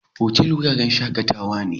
Otal wuraren shakatawa ne.